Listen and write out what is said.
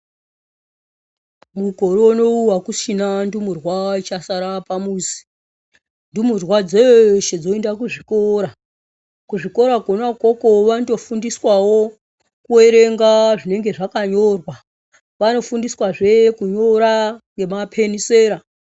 Mukore unowu akuchina ndumurwa ichasara pamuzi ndumurwa dzeshe dzoenda kuzvikora ,kuzvikora kona ikoko vanotofundiswawo kuwerenga zvinenge zvakanyorwa vanotofundiswazve kunyora nemapenisera .